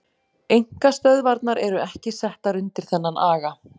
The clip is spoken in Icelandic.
Einkastöðvarnar eru ekki settar undir þennan aga.